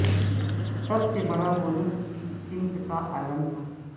سب سے بڑا بونس اس سمت کا عالم تھا